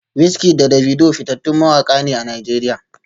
WizKid da Davido fitattun mawaka ne a Najeriya